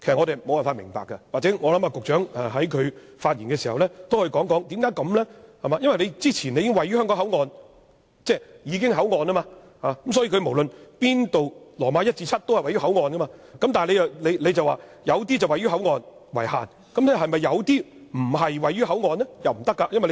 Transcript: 也許局長在發言時可以解釋一下，因為之前已經訂明位於香港口岸，所以無論第 i 至節都是位於口岸，但命令中有些說明位於口岸為限，那是否有些不是位於口岸呢？